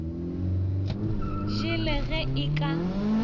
je le ge e ka